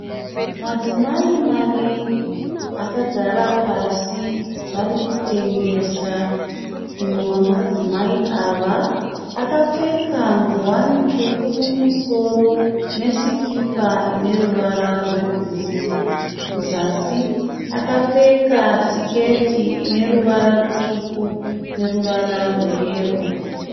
Madzimai maviri akagara pasi varikutengesa. Mumwe wemadzimai ava akapfeka nguwani tsvuku mumusoro nesikipa ine ruvara rwebhuruwu. Kuzasi akapfeka siketi ine ruvara rutsvuku neruvara rweyero.